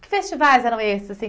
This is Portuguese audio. Que festivais eram esses assim?